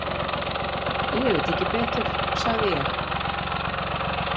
Ég veit ekki betur, sagði ég.